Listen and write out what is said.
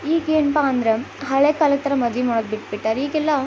ಈಗೇನಪ್ಪಾ ಅಂದ್ರೆ ಹಳೆ ಕಾಲದ್ ತರ ಮದವಿ ಮಾಡ್ ಬಿಟಿಬಿಟರ್ ಈಗೆಲ್ಲ --